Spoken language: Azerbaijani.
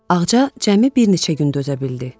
Ağca cəmi bir neçə gün dözə bildi.